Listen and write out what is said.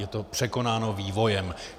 Je to překonáno vývojem.